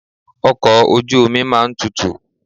Ọkọ̀ ojú omi máa ń tutù.